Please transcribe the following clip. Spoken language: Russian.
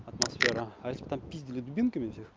атмосфера а если бы там пиздили дубинками всех